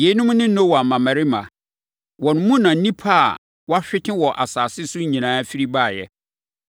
Yeinom ne Noa mmammarima. Wɔn mu na nnipa a, wɔahwete wɔ asase so nyinaa firi baeɛ.